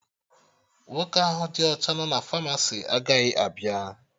Nwoke ahụ dị ọcha nọ na Famasi agaghị abịa